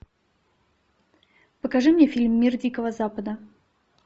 покажи мне фильм мир дикого запада